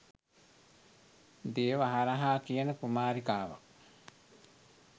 දේවහරහා කියන කුමාරිකාවක්.